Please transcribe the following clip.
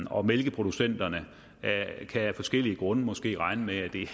og mælkeproducenterne kan af forskellige grunde måske regne med at det er